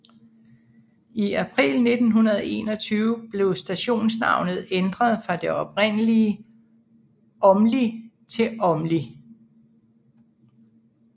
I april 1921 blev stationsnavnet ændret fra det oprindelig Aamli til Åmli